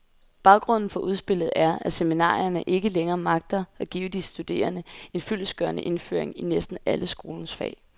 Baggrunden for udspillet er, at seminarierne ikke længere magter at give de studerende en fyldestgørende indføring i næsten alle skolens fag.